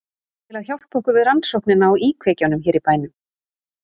Til að hjálpa okkur við rannsóknina á íkveikjunum hér í bænum.